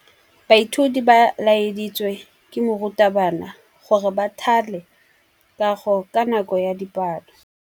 Baithuti ba laeditswe ke morutabana gore ba thale kagô ka nako ya dipalô.